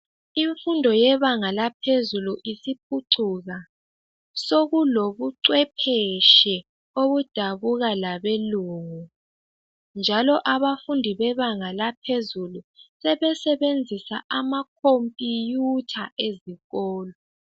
Infundo yebanga laphezulu isiphucuka .sokulobucwepheshe obudabuka labelungu. njalo abafundi bebanga laphezulu sebesebenzisa amakhomphuyutha ezikolo.